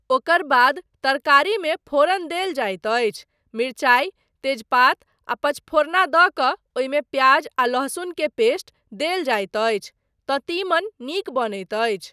ओकर बाद तरकारीमे फोरन देल जाइत अछि, मिरचाइ, तेजपात आ पंचफोरना दऽ कऽ ओहिमे प्याज आ लहसुन के पेस्ट देल जाइत अछि तँ तीमन नीक बनैत अछि।